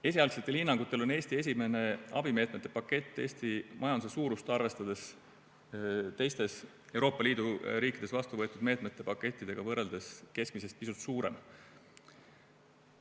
Esialgsetel hinnangutel on Eesti esimene abimeetmete pakett Eesti majanduse suurust arvestades teistes Euroopa Liidu riikides vastuvõetud meetmete pakettidega võrreldes keskmisest pisut suurem.